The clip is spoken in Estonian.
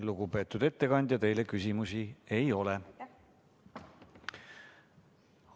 Lugupeetud ettekandja, teile küsimusi ei ole.